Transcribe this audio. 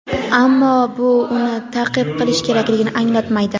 ammo bu uni ta’qib qilish kerakligini anglatmaydi.